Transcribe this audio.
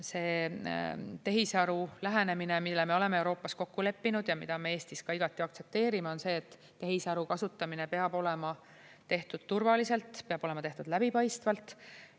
See tehisaru lähenemine, mille me oleme Euroopas kokku leppinud ja mida me Eestis igati aktsepteerime, on selline, et tehisaru kasutamine peab olema tehtud turvaliselt, peab olema tehtud läbipaistvalt.